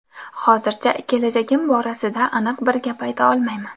Hozircha kelajagim borasida aniq bir gap ayta olmayman.